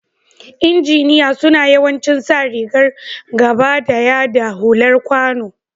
lnjiniya suna yawancin sa rigan gabadaya da hular kwano.